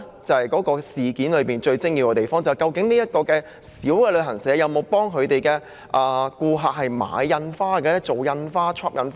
這正是整件事最精要之處，便是究竟這間小型旅行社有否為顧客繳付的外遊費用繳付印花徵費。